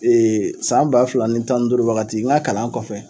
san ba fila ni tan duuru wagati n ga kalan kɔfɛ,